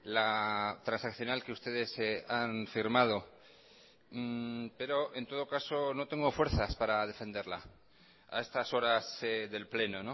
la transaccional que ustedes han firmado pero en todo caso no tengo fuerzas para defenderla a estas horas del pleno